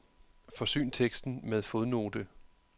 Forsyn teksten med fodnote.